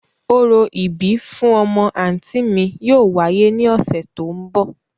Orȯ ibi fun ọmọ anti mi yóò wáyè ni ọsẹ to n bọ.